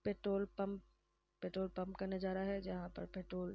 Petrol pump petrol pump का नजारा है। जहा पर पेट्रोल --